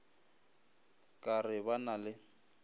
ka re ba na le